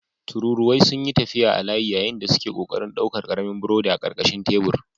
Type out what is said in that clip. Tururuwai sun yi tafiya a layi yayin da suke ƙoƙarin ɗaukar ƙaramin burodi a ƙarƙashin tebur.